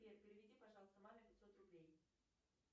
сбер переведи пожалуйста маме пятьсот рублей